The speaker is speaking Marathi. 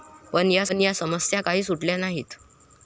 पण या समस्या काही सुटल्या नाहीत.